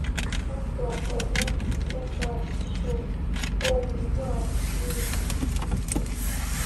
kakwa omon leesaasisho ongwaa news express